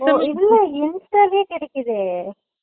இல்ல easy யாவே கிடைக்குது